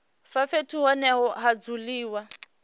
vha fhethu hune ha dzuliwa